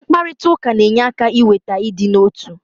mkparịta ụka na-enye aka iweta ịdị n'otu